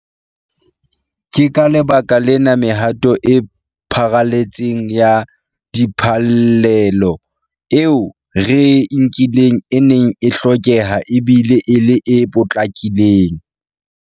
Ke ka lebaka lena mehato e pharaletseng ya diphallelo eo re e nkileng e neng e hlokeha e bile e le e potlakileng.